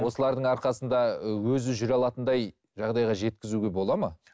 осылардың арқасында өзі жүре алатындай жағдайға жеткізуге болады ма